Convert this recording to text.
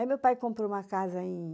Aí, meu pai comprou uma casa em